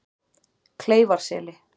Kleifarseli